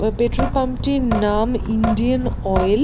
এবং petrol pump - টির না-আ-ম ইন্ডিয়ান অয়েল